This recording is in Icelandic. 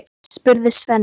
spurði Svenni.